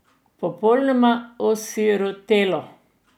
Popolnoma osirotelo.